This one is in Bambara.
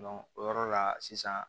o yɔrɔ la sisan